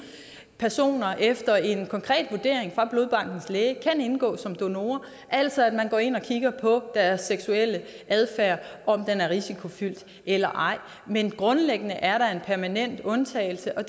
personer efter en konkret vurdering fra blodbankens læge kan indgå som donorer altså at man går ind og kigger på deres seksuelle adfærd om den er risikofyldt eller ej men grundlæggende er der en permanent undtagelse og